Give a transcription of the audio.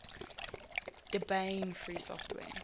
debian free software